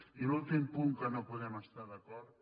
i l’últim punt en què no podem estar d’acord